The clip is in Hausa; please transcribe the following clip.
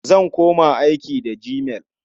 Zan koma aiki da gmail.